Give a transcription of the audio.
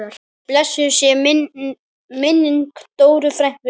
Blessuð sé minning Dóru frænku.